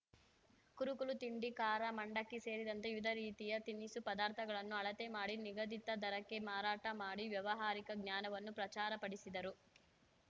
ಕುರುಕಲು ತಿಂಡಿ ಕಾರ ಮಂಡಕ್ಕಿ ಸೇರಿದಂತೆ ವಿಧ ರೀತಿಯ ತಿನಿಸು ಪದಾರ್ಥಗಳನ್ನು ಅಳತೆ ಮಾಡಿ ನಿಗದಿತ ದರಕ್ಕೆ ಮಾರಾಟ ಮಾಡಿ ವ್ಯವಹಾರಿಕ ಜ್ಞಾನವನ್ನು ಪ್ರಚಾರಪಡಿಸಿದರು